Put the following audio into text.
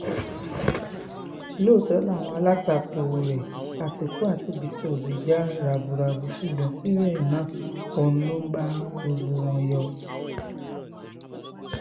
Loto ni awa alatako re ati eko ati jarabu rabu sugbon sibe na ohun logba gbogbo wo yo